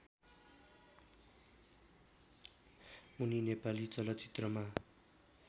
उनी नेपाली चलचित्रमा